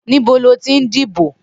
Nibó lótí n dibó?